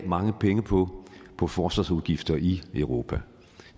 mange penge på på forsvarsudgifter i europa